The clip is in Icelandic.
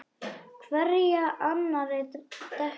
Hverja annarri dekkri.